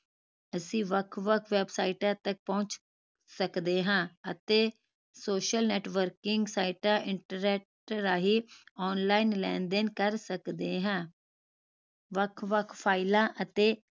ਅਸੀਂ ਵੱਖ ਵੱਖ ਵੈਬਸਾਈਟਾਂ ਤਕ ਪਹੁੰਚ ਸਕਦੇ ਹਾਂ ਅਤੇ social networking ਸਾਈਟਾਂ internet ਰਾਹੀਂ online ਲੈਣ ਦੇਣ ਕਰ ਸਕਦੇ ਹਾਂ ਵੱਖ ਵੱਖ ਫਾਈਲਾਂ ਅਤੇ